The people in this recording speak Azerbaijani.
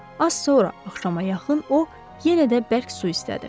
Az sonra axşama yaxın o yenə də bərk su istədi.